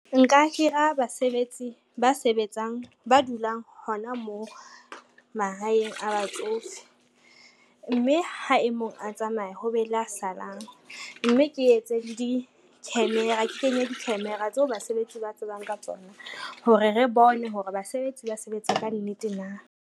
Nka hira basebetsi ba sebetsang ba dulang hona moo mahaeng a batsofe, mme ha e mong a tsamaya ho be le a salang, mme ke etse le di-camera, ke kenye di-camera tseo basebetsi ba tsebang ka tsona hore re bone hore basebetsi ba sebetsa ka nnete na.